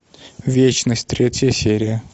вечность третья серия